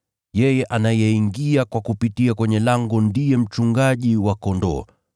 Yeye anayeingia kwa kupitia kwenye lango ndiye mchungaji wa kondoo.